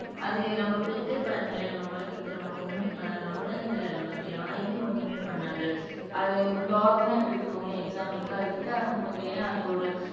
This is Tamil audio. அது நம்ம பெட்டே பாருங்களேன் நம்ம வளர்க்கிறது நம்மள ஒண்ணுமே பண்ணாது நம்மளைன்னு இல்ல யாரையுமே ஒன்னுமே பண்ணாது. அது டாக்னா இப்போ எடுத்துக்கோங்களேன் எக்ஸாம்பிள்ளுக்கு அது கிட்ட வரும்போதே அதோட